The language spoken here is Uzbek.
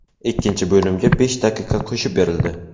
Ikkinchi bo‘limga besh daqiqa qo‘shib berildi.